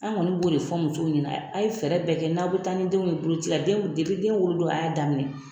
An kɔni bo' de fɔ musow ɲɛna, a' ye fɛɛrɛ bɛɛ kɛ n'a be taa ni denw ye boloci la , denw den wolo don a y'a daminɛ.